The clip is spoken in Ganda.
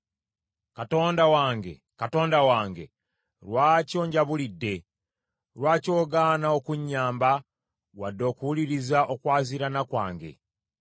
Katonda wange, Katonda wange, lwaki onjabulidde? Lwaki ogaana okunnyamba wadde okuwuliriza okwaziirana kwange?